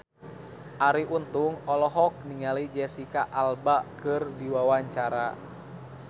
Arie Untung olohok ningali Jesicca Alba keur diwawancara